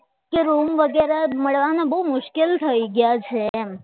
કે રૂમ વગેરે મળવાનો બહુ મુશ્કેલ થઈ ગયા છે એમ